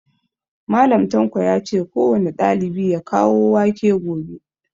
Mallam tanko yace kowane ɗalibi ya kawo wake gobe